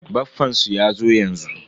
Baffansu yazo yanzu.